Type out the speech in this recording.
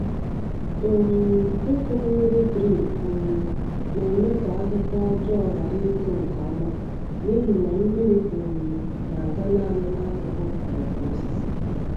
um Ịkụ mmiri drip um na-eme ka ahịhịa ọjọọ ghara ịtoo nke ọma n’ihi na mmiri um na-aga naanị n’akụkụ mgbọrọgwụ osisi.